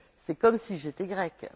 C'est comme si j'étais grecque.